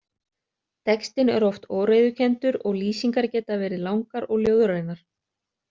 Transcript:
Textinn er oft óreiðukenndur og lýsingar geta verið langar og ljóðrænar.